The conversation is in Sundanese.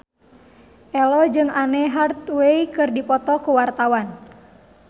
Ello jeung Anne Hathaway keur dipoto ku wartawan